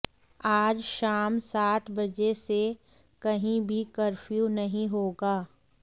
आज शाम सात बजे से कहीं भी कफ्र्यू नहीं होगा